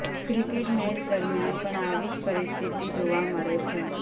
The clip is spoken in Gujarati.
ક્રિકેટ મેચ દરમિયાન પણ આવી જ પરિસ્થિતિ જોવા મળે છે